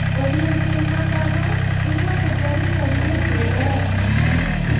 Odiechieng` ma kama irwako tarik achiel dwe mar abich.